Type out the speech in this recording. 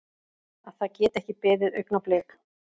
Að það geti ekki beðið augnablik.